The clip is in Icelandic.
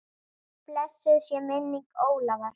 Blessuð sé minning Ólafar.